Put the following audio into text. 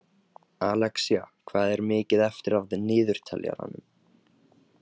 Alexía, hvað er mikið eftir af niðurteljaranum?